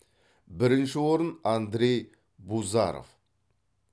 бірінші орын андрей бузаров